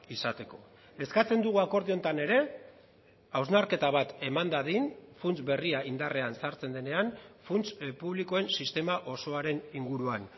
izateko eskatzen dugu akordio honetan ere hausnarketa bat eman dadin funts berria indarrean sartzen denean funts publikoen sistema osoaren inguruan